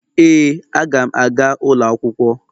Ee, Aga m aga ụlọ akwụkwọ